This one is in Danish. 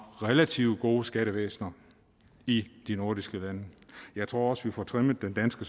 relativt gode skattevæsener i de nordiske lande jeg tror også at vi får trimmet det danske